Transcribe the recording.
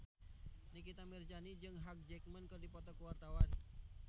Nikita Mirzani jeung Hugh Jackman keur dipoto ku wartawan